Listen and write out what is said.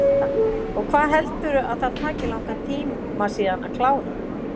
Linda: Og hvað heldurðu að það taki langan tíma síðan að klára?